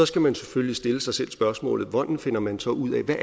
skal man selvfølgelig stille sig selv spørgsmålet hvordan finder man så ud af hvad